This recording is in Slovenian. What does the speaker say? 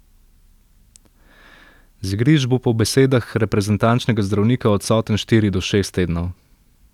Z igrišč bo po besedah reprezentančnega zdravnika odsoten štiri do šest tednov.